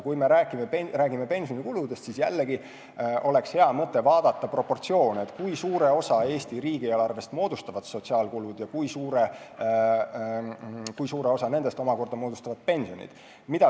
Kui me räägime pensionikuludest, siis jällegi oleks hea mõte vaadata proportsioone – kui suure osa Eesti riigieelarvest moodustavad sotsiaalkulud ja kui suure osa nendest omakorda moodustavad pensionid.